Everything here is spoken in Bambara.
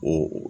O